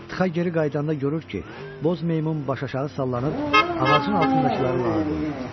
Txaa geri qayıdanda görür ki, boz meymun baş-aşağı sallanıb, ağacın altındakıları lağa qoyur.